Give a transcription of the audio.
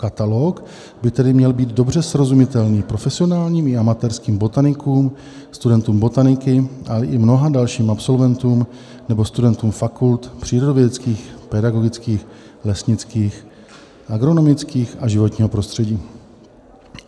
Katalog by tedy měl být dobře srozumitelný profesionálním i amatérským botanikům, studentům botaniky a i mnoha dalším absolventům nebo studentům fakult přírodovědeckých, pedagogických, lesnických, agronomických a životního prostředí.